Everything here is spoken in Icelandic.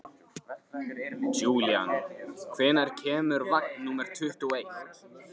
Júlían, hvenær kemur vagn númer tuttugu og eitt?